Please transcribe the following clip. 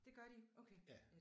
Det gør de. Okay